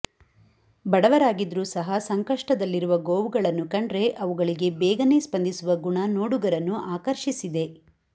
ಬಡವರಾಗಿದ್ರೂ ಸಹ ಸಂಕಷ್ಟದಲ್ಲಿರುವ ಗೋವುಗಳನ್ನು ಕಂಡ್ರೆ ಅವುಗಳಿಗೆ ಬೇಗನೆ ಸ್ಪಂದಿಸುವ ಗುಣ ನೋಡುಗರನ್ನು ಆಕರ್ಷಿಸಿದೆ